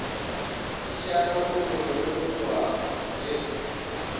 tswišana moroto le morothwana le